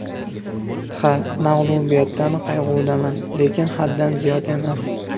Ha, mag‘lubiyatdan qayg‘udaman, lekin haddan ziyod emas.